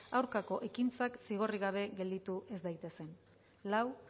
aurkako ekintzak zigorrik gabe gelditu ez daitezen lau